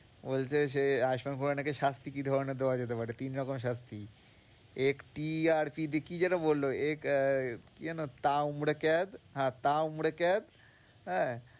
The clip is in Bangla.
বলছে সে নাকি দেওয়া যেতে পারে, তিন রকমের শাস্তি একটি আর কি কি যেন বললো এক কি যেন হ্যাঁ হ্যাঁ।